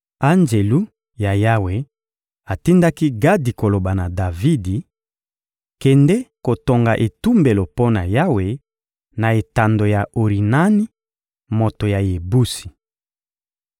Anjelu na Yawe atindaki Gadi koloba na Davidi: — Kende kotonga etumbelo mpo na Yawe, na etando ya Orinani, moto ya Yebusi.